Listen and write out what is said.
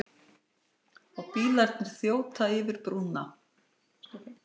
Bílarnir þjóta yfir brúna.